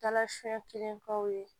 Dala fɛn kelen k'aw ye